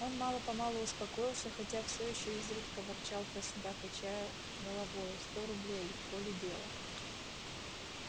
он мало-помалу успокоился хотя все ещё изредка ворчал про себя качая головою сто рублей легко ли дело